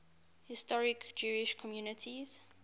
historic jewish communities